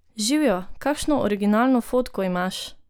Živjo, kakšno originalno fotko imaš!